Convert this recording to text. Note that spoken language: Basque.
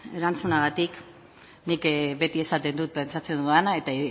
erantzunagatik nik beti esaten dut pentsatzen dudana eta